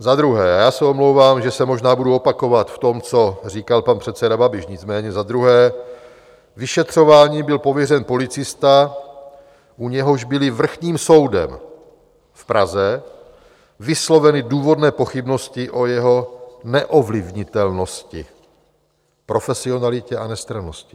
Za druhé - a já se omlouvám, že se možná budu opakovat v tom, co říkal pan předseda Babiš, nicméně za druhé - vyšetřováním byl pověřen policista, u něhož byly Vrchním soudem v Praze vysloveny důvodné pochybnosti o jeho neovlivnitelnosti, profesionalitě a nestrannosti.